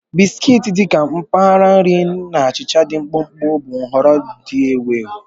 Biskiti, dị ka mgbari nri na achịcha dị mkpụmkpụ, bụ nhọrọ ndị ewu ewu.